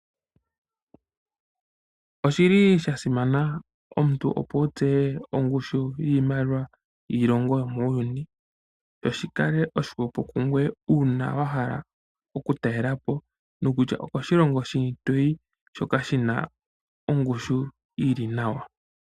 Oshi li sha simana omuntu opo wu tseye ongushu yiimaliwa yiilongo yomuuyuni, sho shi kale oshihwepo kungoye uuna wa hala oku ka talela po kutya okoshilongo shini to yi shoka shi na ongushu yi li nawa.